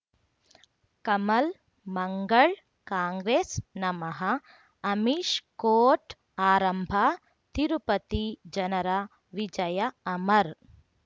ಕಮಲ್ ಮಂಗಳ್ ಕಾಂಗ್ರೆಸ್ ನಮಃ ಅಮಿಷ್ ಕೋರ್ಟ್ ಆರಂಭ ತಿರುಪತಿ ಜನರ ವಿಜಯ ಅಮರ್